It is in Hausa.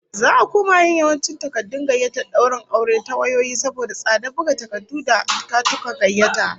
Za'a koma yin yawancin takardun gayyatar daurin aure ta wayoyi saboda tsadar buga takardu da katuttukan gayyata